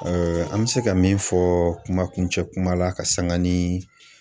an bɛ se ka min fɔ kuma kuncɛ kuma la ka sanga ni